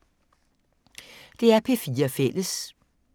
DR P4 Fælles